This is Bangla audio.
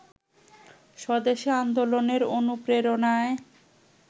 স্বদেশি আন্দোলনের অনুপ্রেরণায়